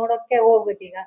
ನೋಡೋಕ್ಕೆ ಹೋಗ್ಬೇಕು ಈಗ